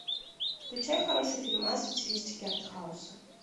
включай хороший фильмас в стилистике артхауса